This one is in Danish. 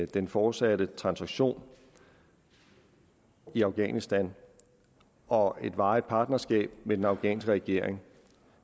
den fortsatte transaktion i afghanistan og et varigt partnerskab med den afghanske regering